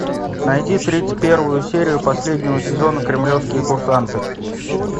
найди тридцать первую серию последнего сезона кремлевские курсанты